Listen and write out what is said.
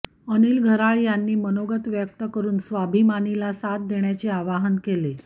अनिल घराळ यांनी मनोगत व्यक्त करुन स्वाभिमानीला साथ देण्याचे आवाहन केले